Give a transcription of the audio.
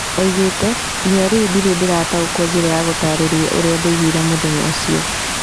Oigĩte "nginyagia rĩu ndĩrĩ ndĩrataũkwo njĩra ya gũtarĩria ũrĩa ndaiguire mũthenya ũcio "